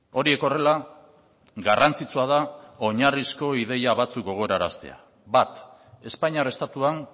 horiek horrela garrantzitsua da oinarrizko ideia batzuk gogoraraztea bat espainiar estatuan